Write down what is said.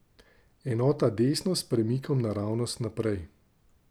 Enota desno s premikom naravnost naprej.